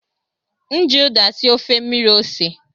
M ji ụda sie ofe mmiri ose.